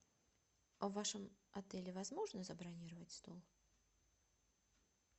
в вашем отеле возможно забронировать стол